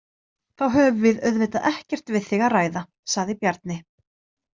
Þá höfum við auðvitað ekkert við þig að ræða, sagði Bjarni.